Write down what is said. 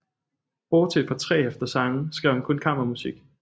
Bortset fra tre hæfter sange skrev han kun kammermusik